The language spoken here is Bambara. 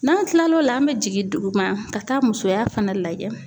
N'an kilal'o la an bɛ jigin duguma ka taa musoya fana lajɛ.